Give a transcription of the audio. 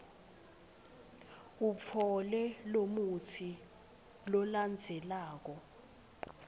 utfole lomutsi lolandzelako